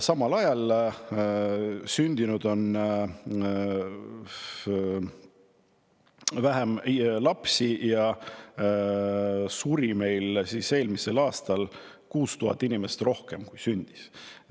Samal ajal on sündinud vähem lapsi, aga eelmisel aastal suri 6000 inimest rohkem kui sündis.